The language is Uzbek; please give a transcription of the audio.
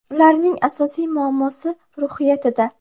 Ularning asosiy muammosi – ruhiyatida.